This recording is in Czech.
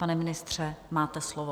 Pane ministře, máte slovo.